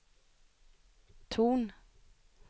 ton